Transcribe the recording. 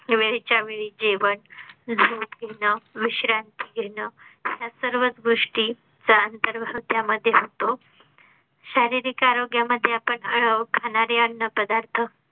वेळच्या वेळी जेवण जेवण केलं विश्रांती घेणं त्या सर्व गोष्टीचा अंतर्भाव त्यामध्ये होतो. शारीरिक आरोग्या मध्ये आपण खाणारे अन्न पदार्थ